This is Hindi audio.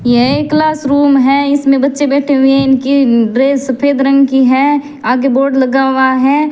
यह एक क्लास रूम है इसमें बच्चे बैठे हुए हैं उनकी ड्रेस सफेद रंग की है आगे बोर्ड लगा हुआ है।